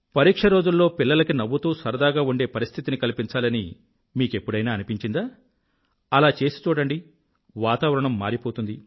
పరీక్షరోజుల్లో పిల్లలకి నవ్వుతూ సరదాగా ఉండే పరిస్థితిని కల్పించాలని మీకెప్పుడైనా అనిపించిందా అలా చేసి చూడండి వాతావరణం మారిపోతుంది